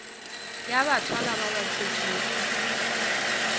ya bathwalwa ba ba thwetšwego